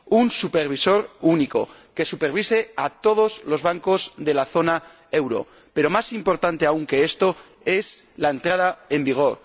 Un supervisor único, que supervise a todos los bancos de la zona euro, pero más importante aún que esto es su entrada en vigor